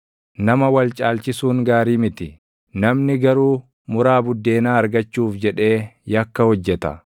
Nama wal caalchisuun gaarii miti; namni garuu muraa buddeenaa argachuuf jedhee yakka hojjeta.